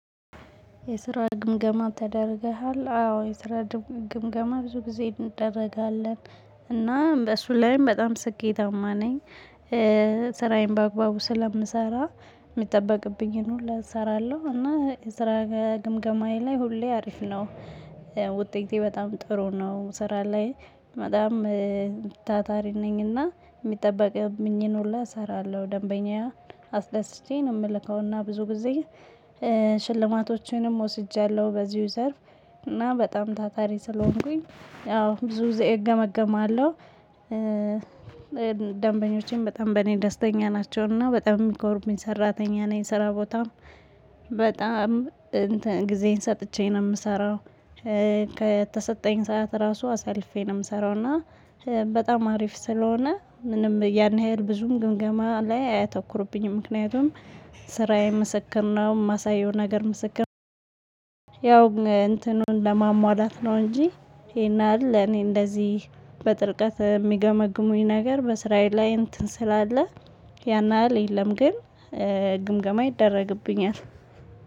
የስራ ግምገማ ተደርገሃል አዎ የስራ ግምገማ ብዙ ጊዜ እንደረጋለን እና በሱ ላይም በጣም ስኬታማ ነኝ። ስራዬን በአግባቡ ስለምሰራ የሚጠበቅብኝን ሁሉ እሰራለሁ እና የስራ ግምገማዬ ላይ ሁሌ አሪፍ ነው። ውጤቴ በጣም ጥሩ ነው። ስራ ላይ በጣም ታታሪ ነኝና የሚጠበቅብኝ ሁላ እሰራለሁ ደንበኛ አስደስቼ ነው የምልከውና ብዙ ጊዜ ሽልማቶቼንም ወስጃለሁ። በዚሁ ዘርፍ እና በጣም ታታሪ ስለሆንኩኝ አዎ ብዙ እገመገማለሁ። ደንበኞቼም በጣም በእኔ ደስተኛ ናቸውና በጣም የሚኮሩብኝ ሰራተኛ ነኝ። ስራ ቦታም በጣም እንትን ጊዜን ሰጥቼ ነው የምሰራው። ከተሰጠኝ ሰዓት ራሱ አሳልፌ ነው የምሰራው። እና በጣም አሪፍ ስለሆነ ምንም ያን ያህል ብዙም ግምገማ ላይ አያተኩርቡኝም። ምክንያቱም ስራዬ ምስክር ነው የማሳየው ነገር ምስክር እንትኑን ለማሟላት ነው። እንጂ ይሄ ያህል እኔ እንደዚህ በጥልቀት ሚገመግሙኝ ነገር በስራዬ ላይ እንትን ስላለ ያን ያህል የለም። ግን ግምገማ ይደረግብኛል።